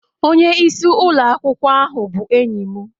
Onye isi ụlọ akwụkwọ ahu bụ enyi m